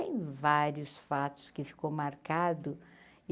Tem vários fatos que ficou marcado.